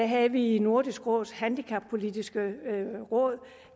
havde vi i nordisk råds handicappolitiske råd